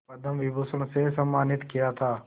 पद्म विभूषण से सम्मानित किया था